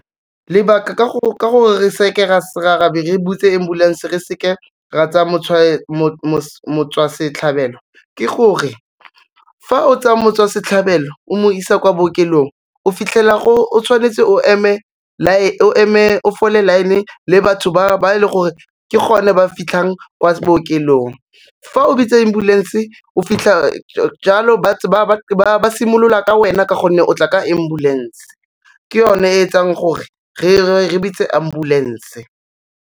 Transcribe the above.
Lebaka ka gore re se ke ra be re bitse ambulanse re seke ra tsaya motswasetlhabelo ke gore, fa o tsaya motswasetlhabelo o mo isa kwa bookelong, o fitlhela o tshwanetse o fole line-e le batho ba e le gore ke gone ba fitlhang kwa bookelong. Fa o bitsa ambulance o fitlha jalo ba simolola ka wena ka gonne o tla ka ambulance, ke yone e etsang gore re bitse ambulance.